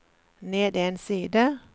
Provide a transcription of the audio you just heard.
ned en side